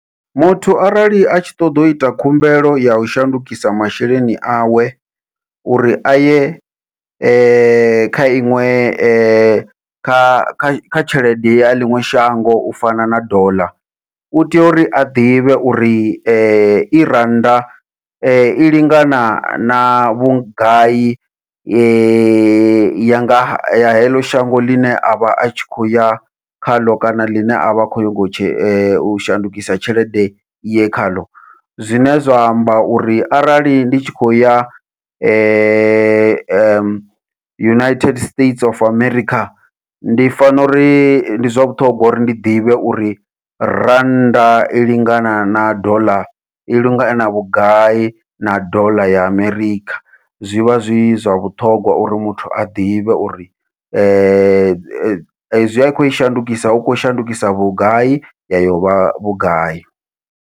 Muthu arali atshi ṱoḓa uita khumbelo yau shandukisa masheleni awe, uri aye kha iṅwe kha tshelede ya ḽiṅwe shango u fana na doḽa u tea uri a ḓivhe uri i rannda i lingana na vhugai yanga ya heḽo shango ḽine avha atshi khou ya khaḽo, kana ḽine avha hone khou nyaga u shandukisa tshelede ye khaḽo. Zwine zwa amba uri arali ndi tshi khou ya United States of America ndi fano uri ndi zwa vhuṱhongwa uri ndi ḓivhe uri rannda i lingana na ḓola, i lingana na vhugai na ḓola ya Amerikha zwivha zwi zwa vhuṱhongwa uri muthu a ḓivhe uri ezwi a khou i shandukisa u khou shandukisa vhugai ya yovha vhugai.